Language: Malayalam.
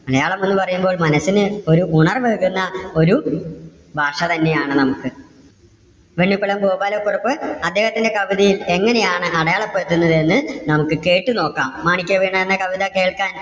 മലയാളം എന്ന് പറയുമ്പോൾ മനസ്സിന് ഒരു ഉണർവ്വ് ഏകുന്ന ഒരു ഭാഷ തന്നെ ആണ് നമുക്ക്. വെണ്ണിക്കുളം ഗോപാല കുറുപ്പ് അദ്ദേഹത്തിന്റെ കവിതയിൽ എങ്ങനെ ആണ് അടയാളപ്പെടുത്തുന്നത് എന്ന് നമുക്ക് കേട്ട് നോക്കാം. മാണിക്യവീണ എന്ന കവിത കേൾക്കാൻ